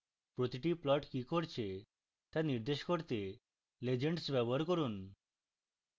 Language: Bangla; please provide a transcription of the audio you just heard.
প্রতিটি plot কি করছে তা নির্দেশ করতে legends ব্যবহার করুন